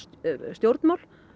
stjórnmál